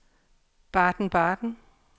Baden-Baden